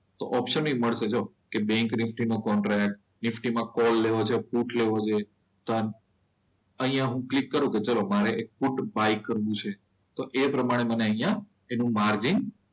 તો ઓપ્શન એ મળશે જો કે બેન્ક નિફ્ટી નો કોન્ટેક્ટ નિફ્ટીમાં કોલ લેવો છે પુટ લેવો છે. અહીંયા હું ક્લિક કરું કે ચલો મારે પુટ બાય કરવું છે તો એ પ્રમાણે મને અહીંયા એનું માર્જિન